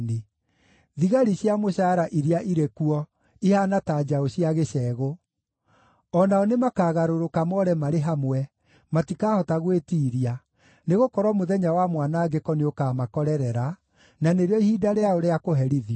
Thigari cia mũcaara iria irĩ kuo ihaana ta njaũ cia gĩcegũ. O nao nĩmakagarũrũka more marĩ hamwe, matikahota gwĩtiiria, nĩgũkorwo mũthenya wa mwanangĩko nĩũkamakorerera, na nĩrĩo ihinda rĩao rĩa kũherithio.